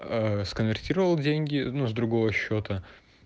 аа сконвертировал деньги ну с другого счета